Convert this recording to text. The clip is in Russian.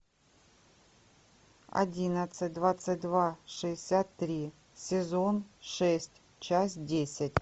одиннадцать двадцать два шестьдесят три сезон шесть часть десять